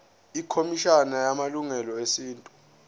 ikhomishana yamalungelo esintu